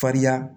Farinya